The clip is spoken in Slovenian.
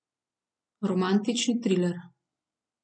Romantični triler.